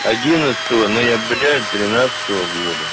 одиннадцатого ноября тринадцатого года